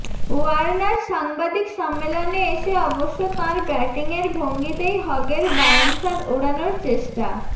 Warner সাংবাদিক সম্মেলনে এসে অবশ্য তাঁর ব্যাটিংয়ের ভঙ্গিতেই হগের বাউন্সার ওড়ানোর চেষ্টা